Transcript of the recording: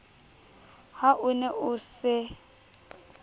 ha o ne o se